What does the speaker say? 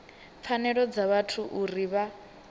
pfanelo dza vhathu uri vha